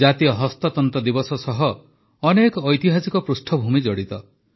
ଜାତୀୟ ହସ୍ତତନ୍ତ ଦିବସ ସହ ଅନେକ ଐତିହାସିକ ପୃଷ୍ଠଭୂମି ଜଡ଼ିତ